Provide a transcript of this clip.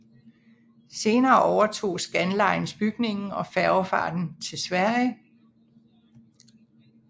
Senere overtog Scandlines bygningen og færgefarten til Sverige